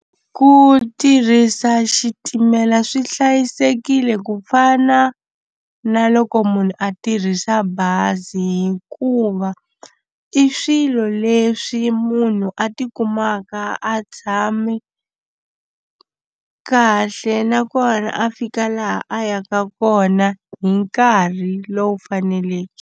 Ku tirhisa xitimela swi hlayisekile ku fana na loko munhu a tirhisa bazi hikuva i swilo leswi munhu a tikumaka a tshame kahle nakona a fika laha a yaka kona hi nkarhi lowu faneleke.